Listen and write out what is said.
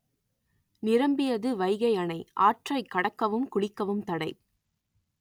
நிரம்பியது வைகை அணை ஆற்றைக் கடக்கவும் குளிக்கவும் தடை